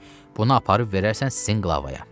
Bunu aparıb verərsən sinqulavaya.